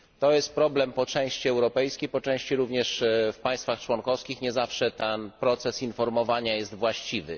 To jest problem po części europejski, a po części również w państwach członkowskich nie zawsze ten proces informowania jest właściwy.